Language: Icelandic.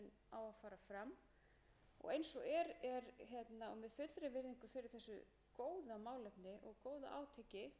á að fara fram eins og er og með fullri virðingu fyrir þessu góða málefni og góða átaki vantar okkur löggjöf um vægi þessara